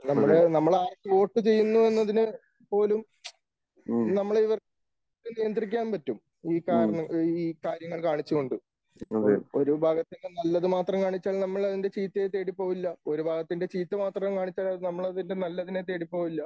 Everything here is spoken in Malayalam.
നമ്മടെ, നമ്മൾ ആർക്ക് വോട്ട് ചെയ്യുന്നു എന്നതിനെ പോലും നമ്മളെ ഇവർക്ക് നിയന്ത്രിക്കാൻ പറ്റും. ഈ കാരണം ഈ കാര്യങ്ങൾ കാണിച്ചുകൊണ്ട് ഇപ്പോൾ ഒരു വിഭാഗത്തിന്റെ നല്ലത് മാത്രം കാണിച്ചാൽ നമ്മൾ അതിന്റെ ചീത്തയെ തേടിപ്പോയില്ല. ഒരു വിഭാഗത്തിന്റെ ചീത്ത മാത്രം കാണിച്ചാൽ നമ്മൾ അതിന്റെ നല്ലതിനെ തേടി പോവില്ല.